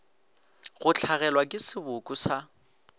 go hlagelwa ke seboko sa